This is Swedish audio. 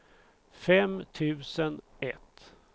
fem tusen ett